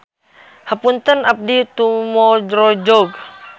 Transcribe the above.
Hapuntenna abdi tumorojog.